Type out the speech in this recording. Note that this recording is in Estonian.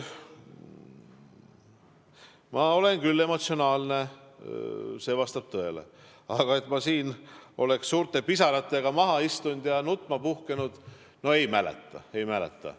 Ma olen küll emotsionaalne, see vastab tõele, aga et ma oleks siin pisarates maha istunud ja nutma puhkenud, seda ma ei mäleta.